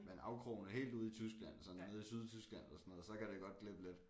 Men afkrogene helt ude i Tyskland sådan nede i Sydtyskland så kan det godt glippe lidt